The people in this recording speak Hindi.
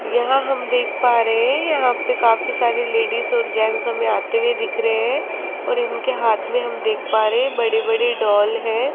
यहां हम देख पा रहे है यहां पे काफी सारे लेडिस और जेंट्स हमें आते हुए दिख रहे है और उनके हाथ में हम देख पा रहे है बड़े बड़े डॉल है।